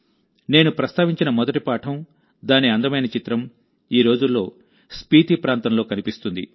నేను ప్రస్తావించిన మొదటి పాఠం దాని అందమైన చిత్రం ఈ రోజుల్లో స్పీతీ ప్రాంతంలో కనిపిస్తుంది